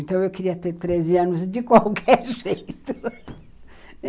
Então, eu queria ter treze anos de qualquer jeito.